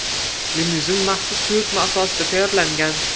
Limuzin maxsus buyurtma asosida tayyorlangan.